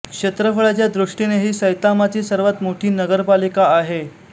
क्षेत्रफळाच्या दृष्टीने ही सैतामाची सर्वात मोठी नगरपालिका आहे